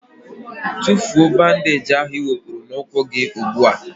Tụfụọ bandage ahụ i wepụrụ na ụkwụ gị ụgbụa!!!